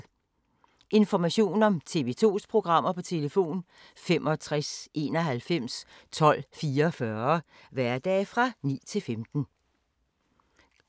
Information om TV 2's programmer: 65 91 12 44, hverdage 9-15.